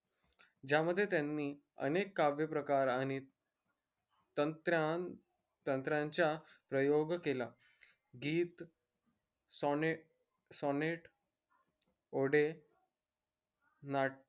ज्यामध्ये त्यानी अनेक काव्यप्रकार आणि तंत्राण तंत्राणच्या प्रयोग केला गीत समेट ओढे नाट्य